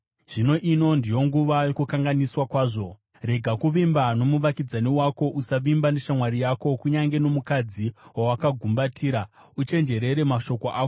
Rega kuvimba nomuvakidzani wako; usavimba neshamwari yako. Kunyange nomukadzi wawakagumbatira, uchenjerere mashoko ako.